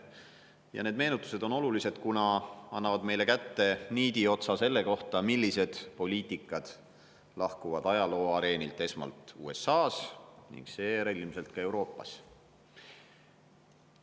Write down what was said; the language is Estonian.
Ja need meenutused on olulised, kuna annavad meile kätte niidiotsa selle kohta, millised poliitikad lahkuvad ajalooareenilt esmalt USA-s ning seejärel ilmselt ka Euroopas.